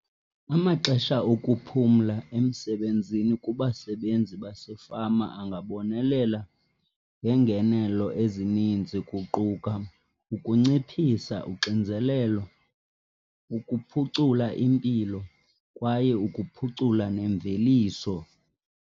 Amaxesha okuphumla emsebenzini kubasebenzi basefama angabonelela ngeengenelo ezininzi kuquka ukunciphisa uxinzelelo, ukuphucula impilo kwaye ukuphucula nemveliso.